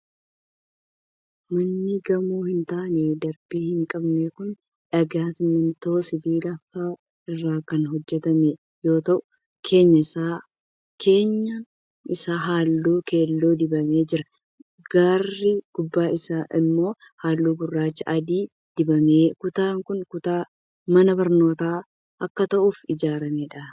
Manni gamoo hin taane darbii hin qabne kun, dhagaa ,simiintoo ,sibiila faa irraa kan hojjatame yoo ta'u, keenyaan isaa haalluu keelloo dibamee jira. Garri gubbaa isaa immoo, haalluu gurraacha adii dibameera. Kutaan kun, kutaa mana barnootaa akka ta'uuf ijaaramee dha.